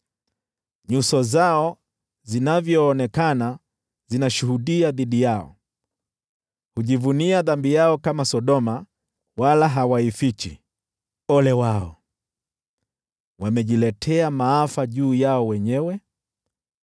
Nyuso zao zinavyoonekana zinashuhudia dhidi yao, hujivunia dhambi yao kama Sodoma, wala hawaifichi. Ole wao! Wamejiletea maafa juu yao wenyewe.